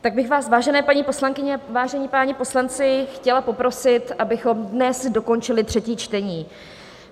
Tak bych vás, vážené paní poslankyně, vážení páni poslanci, chtěla poprosit, abychom dnes dokončili třetí čtení.